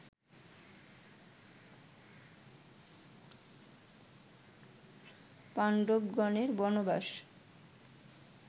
পান্ডবগণের বনবাস